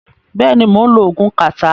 Bẹ́ẹ̀ ni, mò ń lo oògùn kàtá.